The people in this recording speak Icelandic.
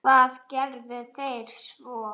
Og hvað gerðuð þér svo?